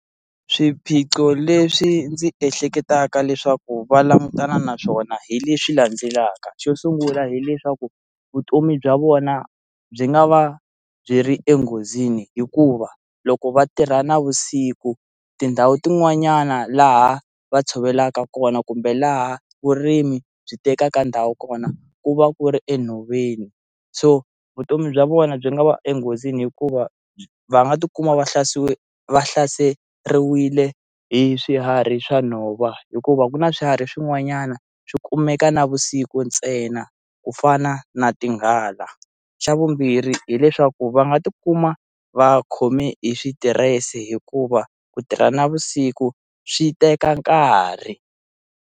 Swiphiqo leswi ndzi ehleketaka leswaku va langutana na swona hi leswi landzelaka, xo sungula hileswaku vutomi bya vona byi nga va byi ri enghozini hikuva loko va tirha navusiku tindhawu tin'wanyana laha va tshovelaka kona kumbe laha vurimi byi tekaka ndhawu kona ku va ku ri enhoveni so vutomi bya vona byi nga va enghozini hikuva va nga ti kuma va hlase va hlaseriwile hi swiharhi swa nhova hikuva ku na swiharhi swin'wanyana swi kumeka navusiku ntsena ku fana na tinghala xa vumbirhi hileswaku va nga ti kuma va khome hi switirese hikuva ku tirha navusiku swi teka nkarhi.